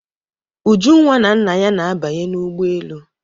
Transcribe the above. Ujunwa na nna ya na-abanye n'ụgbọelu.